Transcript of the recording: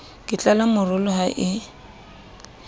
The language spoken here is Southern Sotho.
ke tlala morolo ha e